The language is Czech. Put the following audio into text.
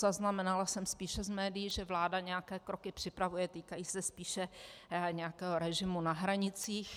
Zaznamenala jsem spíše z médií, že vláda nějaké kroky připravuje, týkají se spíše nějakého režimu na hranicích.